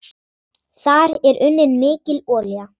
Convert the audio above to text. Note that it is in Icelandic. Þar er unnin mikil olía.